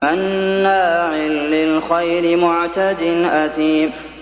مَّنَّاعٍ لِّلْخَيْرِ مُعْتَدٍ أَثِيمٍ